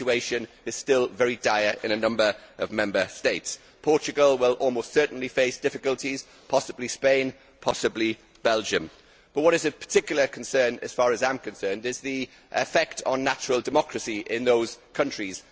The situation is still very dire in a number of Member States Portugal will almost certainly face difficulties, possibly Spain and possibly Belgium. But what is particularly of concern to me is the effect on natural democracy in these countries.